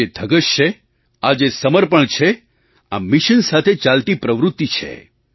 આ જે ધગશ છે આ જે સમર્પણ છે આ મિશન સાથે ચાલતી પ્રવૃત્તિ છે